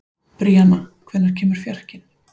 Bríanna, hvenær kemur fjarkinn?